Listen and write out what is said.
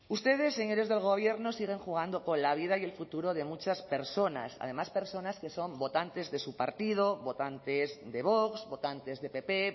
ustedes señores del gobierno siguen jugando con la vida y el futuro de muchas personas además personas que son votantes de su partido votantes de vox votantes de pp